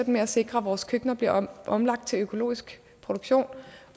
med at sikre at vores køkkener bliver omlagt til økologisk produktion